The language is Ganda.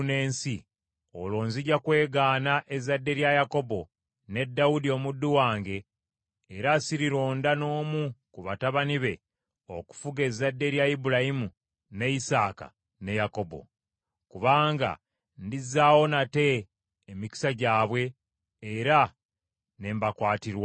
olwo nzija kwegaana ezzadde lya Yakobo ne Dawudi omuddu wange era sirironda n’omu ku batabani be okufuga ezzadde lya Ibulayimu, ne Isaaka ne Yakobo. Kubanga ndizzaawo nate emikisa gyabwe, era ne mbakwatirwa ekisa.’ ”